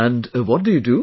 And what do you do